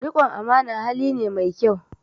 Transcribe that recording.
Riƙon amana hali ne mai kyau